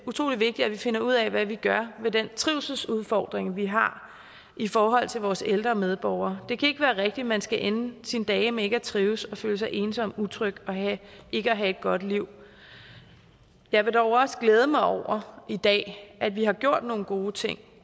utrolig vigtigt at vi finder ud af hvad vi gør ved den trivselsudfordring vi har i forhold til vores ældre medborgere det kan ikke være rigtigt at man skal ende sine dage med ikke at trives med at føle sig ensom og utryg og ikke have et godt liv jeg vil dog også glæde mig over i dag at vi har gjort nogle gode ting